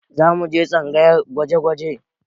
Za mu je tsangayar gwaje-gwaje